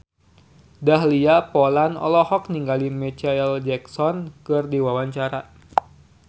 Dahlia Poland olohok ningali Micheal Jackson keur diwawancara